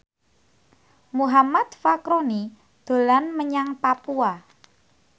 Muhammad Fachroni dolan menyang Papua